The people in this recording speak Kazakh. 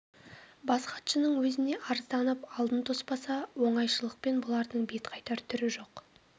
бас хатшының өзіне арызданып алдын тоспаса оңайшылықпен бұлардың бет қайтар түрі жоқ